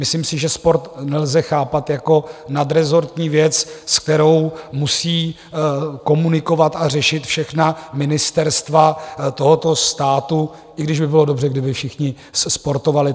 Myslím si, že sport nelze chápat jako nadrezortní věc, s kterou musí komunikovat a řešit všechna ministerstva tohoto státu, i když by bylo dobře, kdyby všichni sportovali.